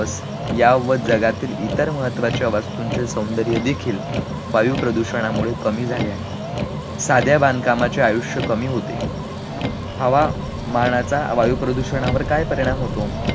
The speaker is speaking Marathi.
या व जगातील इतर महत्त्वाच्या वास्तूंचे सौंदर्य देखील वायू प्रदूषणामुळे कमी झाले आहे, साध्या बांधकामाचे आयुष्य कमी होते, हवा मानाचा वायू प्रदूषणावर काय परिणाम होतो?